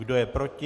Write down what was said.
Kdo je proti?